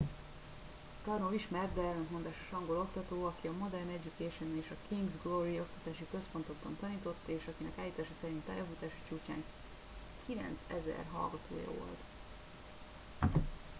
karno ismert de ellentmondásos angol oktató aki a modern education és a king's glory oktatási központokban tanított és akinek állítása szerint pályafutása csúcsán 9000 hallgatója volt